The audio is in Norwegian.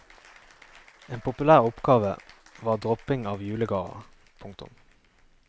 En populær oppgave var dropping av julegaver. punktum